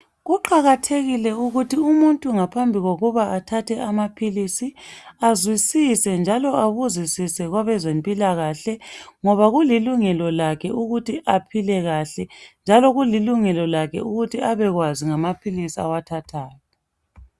Kuqakathekile ukuthi umuntu ngaphambi kokuba athatha amaphilisi azwisise njalo abuzisise kwabezempilakahle ngoba kulilungelo lakhe ukuthi aphile kahle njalo kulilungelo lakhe ukuthi abekwazi ngamaphilisi awathathayo.